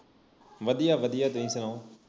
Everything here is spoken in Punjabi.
ਵਧੀਆ ਵਧੀਆ ਤੁਸੀ ਸੁਣਾਓ